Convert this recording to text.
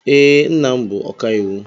Ee, nna m bụ ọkàiwu.